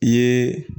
I ye